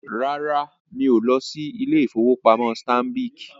Rárá, mí o lọ sí ilé-ìfowópamọ́ Stanbic